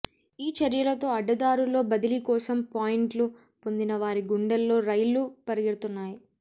ఈ చర్యలతో అ డ్డదారుల్లో బదిలీ కోసం పాయింట్లు పొందిన వారి గుండెల్లో రైళ్లు పరుగెడుతున్నాయి